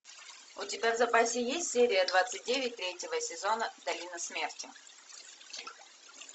у тебя в запасе есть серия двадцать девять третьего сезона долина смерти